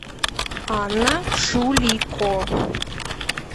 анна шулико